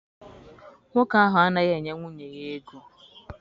Nwoke ahụ anaghị enye nwunye ya ego.